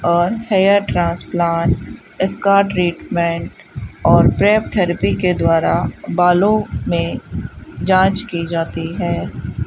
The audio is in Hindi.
और हेयर ट्रांसप्लांट इसका ट्रीटमेंट और प्रेप थेरेपी के द्वारा बालों में जांच की जाती है।